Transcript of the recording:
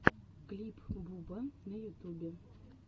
клип буба на ютубе